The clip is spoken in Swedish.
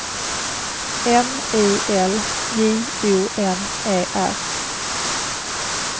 M I L J O N E R